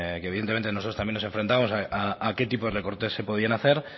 que evidentemente también nosotros nos enfrentamos a qué tipo de recorte se podían hacer